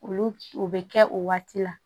Olu o bɛ kɛ o waati la